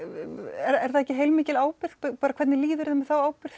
er það ekki heilmikil ábyrgð hvernig líður þér með þá ábyrgð